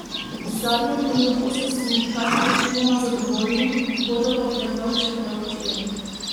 Z zadnjo ponudbo so sindikati večinoma zadovoljni, bodo pa predlog še preučili.